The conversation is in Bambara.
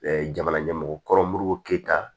jamana ɲɛmɔgɔ kɔrɔmu k'i ta